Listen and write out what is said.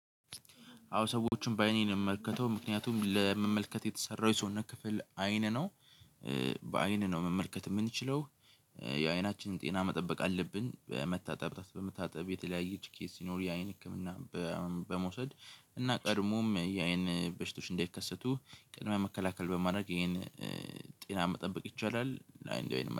አዎ ሰዎችን በአይኔ ነው የምመልከተው ምክንያቱም ለመመልከት የተሰራው የሰውነት ክፍል አይን ነው በአይን ነው መመልከት የምንችለው። የአይናችንን ጤና መጠበቅ አለብን መታጠብ በመታጠብ የተለያየ ቺ ኬዝ ሲኖር የአይን ህክምና በመውሰድ እና ቀድሞም የአይን በሽታዎች እንዳይከሰቱ ቅድመ መከላከል በማድረግ ይሄን ጤና መጠበቅ ይቻላል።